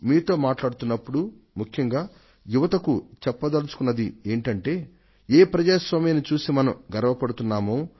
మీతో మాట్లాతున్నప్పుడు ముఖ్యంగా యువత చెప్పదల్చుకున్నది ఏమిటంటే ఏ ప్రజాస్వామ్యాన్ని చూసి మనం గర్వపడుతున్నామో